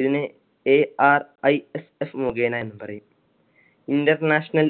ഇതിനെ ARISS മുഖേന എന്നുപറയും. International